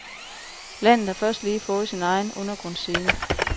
Landet har først lige fået sin egen undergrundsscene.